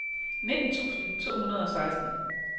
nitten tusind to hundrede og seksten